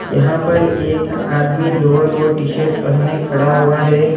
यहां पर एक आदमी लोवर और टी_शर्ट पहने खड़ा हुआ है।